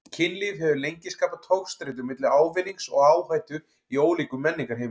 Kynlíf hefur lengi skapað togstreitu milli ávinnings og áhættu í ólíkum menningarheimum.